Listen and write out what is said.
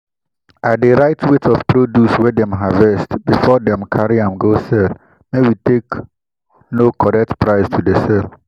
i dey write weight of produce wey dem harvest before dem carry am go sell make we take know correct price to dey sell.